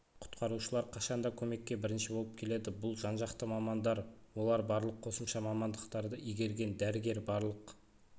құтқарушылар қашанда көмекке бірінші болып келеді бұл жан-жақты мамандар олар барлық қосымша мамандықтарды игерген дәрігер барлық